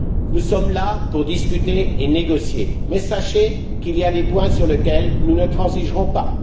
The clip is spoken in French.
Nous sommes là pour discuter et négocier, mais sachez qu'il y a des points sur lesquels nous ne transigerons pas.